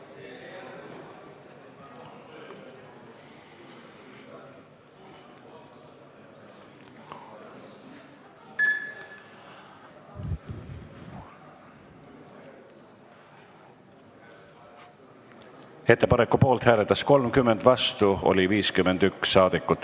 Hääletustulemused Ettepaneku poolt hääletas 30 ja vastu oli 51 saadikut.